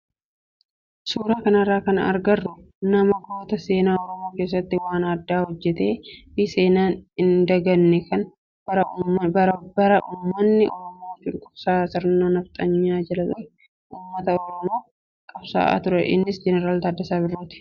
Suuraa kanarraa kan agarru nama goota seenaa oromoo keessatti waan addaa hojjatee fi seenaan hin daganne kan bara uummanni oromoo cunqursaa sirna nafxanyaa jala ture uummata oromoof qabsaa'aa turedha. Innis jeneraal Taaddasaa Birruuti.